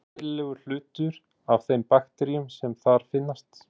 Er hún eðlilegur hluti af þeim bakteríum sem þar finnast.